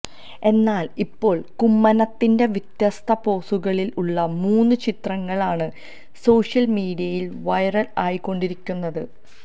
എന്നാല് ഇപ്പോള് കുമ്മനത്തിന്റെ വ്യത്യസ്ത പോസുകളില് ഉള്ള മൂന്ന് ചിത്രങ്ങള് ആണ് സോഷ്യല് മീഡിയയില് വൈറല് ആയിക്കൊണ്ടിരിക്കുന്നത്